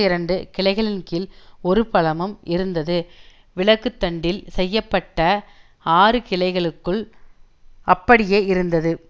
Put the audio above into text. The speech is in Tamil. இரண்டு கிளைகளின்கீழ் ஒரு பழமும் இருந்தது விளக்குத்தண்டில் செய்ய பட்ட ஆறுகிளைகளுக்குள் அப்படியே இருந்தது